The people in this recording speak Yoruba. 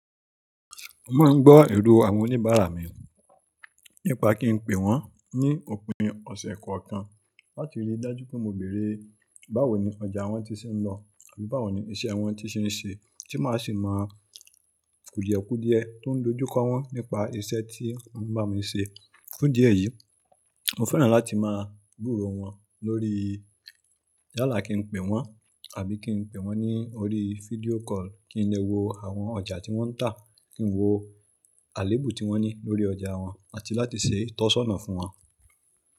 Mo máa ń gbọ́ èrò àwọn oníbàárà mi, nípa kí n pè wọ́n ní òpin ọ̀sẹ̀ kọ̀ọ̀kan láti rí i dájú pé mo béèrè báwo ni ọjà wọn ti ṣe ń lọ àbí báwo ni iṣẹ́ wọn ti ṣe ń ṣe, tí máa sì máa kùdiekúdie tó ń dojúkọ wọ́n nípa iṣẹ́ tí wọ́n bá mi ṣe. Fún idí ẹ̀yìí, mo fẹ́ràn láti máa gbúró wọn lórí yálà kí n pè wọ́n àbí kí n pè wọ́n ní orí fídíò call, kí n lè wo àwọn ọjà tí wọ́n ń tà, kí n wo àléébù tí wọ́n ní lórí ọjà wọn àti láti ṣe ìtọ́sọ́nà fún wọn.